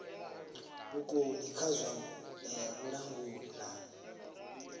vhukoni kha zwa vhulanguli na